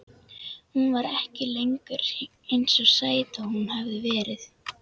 Hún var ekki lengur eins sæt og hún hafði verið.